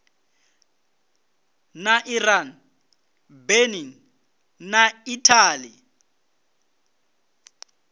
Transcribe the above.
na iran benin na italy